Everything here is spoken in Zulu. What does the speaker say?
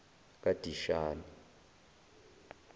kadishani